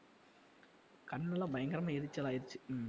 கண்ணெல்லாம் பயங்கரமா எரிச்சல்லாயிடுச்சு ஹம்